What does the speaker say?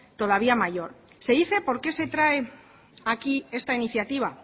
todavía mayor se dice por qué se trae aquí esta iniciativa